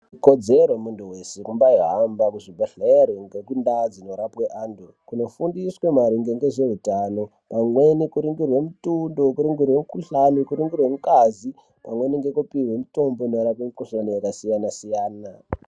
Ikodzero yemuntu weshe kuhamba kuzvibhedhlera kuzorapwe antu kuzofundiswa maringe ngezveutano pamweni kuningirwa mitundo kuningirwa mikuhlani kuningirwa ngazi pamweni kuningirwa mutombo maererano nemikhuhlani yakasiyana siyana.